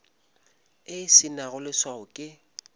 e se nago leswao ke